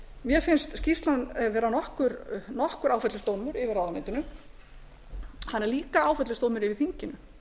mér finnst skýrslan vera nokkur áfellisdómur yfir ráðuneytinu hann er líka áfellisdómur yfir þinginu